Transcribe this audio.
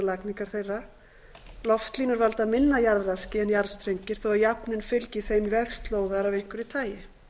lagningar þeirra loftlínur valda minna jarðraski en jarðstrengir þó að jafnan fylgi þeim vegslóðar af einhverju tagi